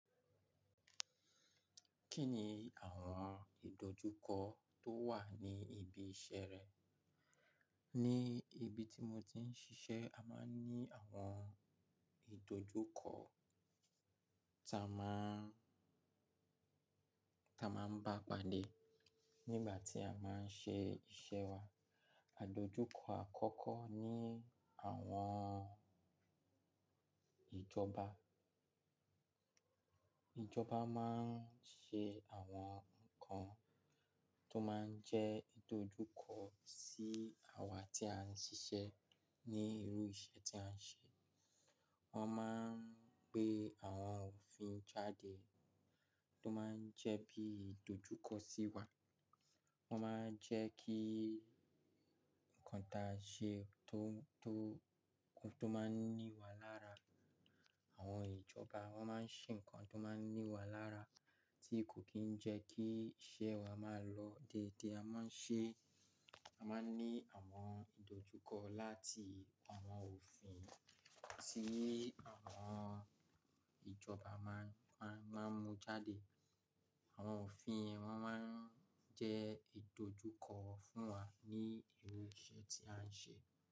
Kí ni àwọn ìdojúkọ tó wà ní ibi iṣẹ́ rẹ? Ní ibi tí mo ti ń ṣiṣẹ́, a máa ń ní àwọn ìdojúkọ ta máa ń, ta máa ń bá padà nígbà tí a báa ń ṣe iṣẹ́ wa. Àdojúkọ àkọ́kọ́ ni àwọn ìjọba. Ìjọba máa ń ṣe àwọn nǹkan tó máa ń jẹ́ ìdojúkọ sí àwa tí a ń ṣiṣẹ́ ní irú iṣẹ́ tí à ń ṣe. Wọ́n máa ń gbé àwọn òfin jáde tó máa ń jẹ́ bí ìdojúkọ sí wa. Wọ́n máa ń jẹ́ kí nǹkan ta ṣe tó, tó, tó máa ń ní wa lára àwọn ìjọba. Wọ́n máa ń ṣe nǹkan tó máa ń ní wa lára tí kò kì í jẹ́ kí iṣẹ́ wa máa lọ déédé. A máa ń ṣe, a máa ń ní àwọn ìdojúkọ láti àwọn òfin tí àwọn ìjọba máa ń, máa ń, máa ń mú jáde. Àwọn òfin wọ́n máa ń jẹ́ ìdojúkọ fún wa ní irú iṣẹ́ tí à ń ṣe.